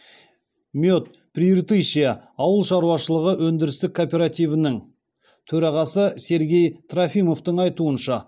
мед прииртышья ауыл шаруашылығы өндірістік кооперативінің төрағасы сергей трофимовтің айтуынша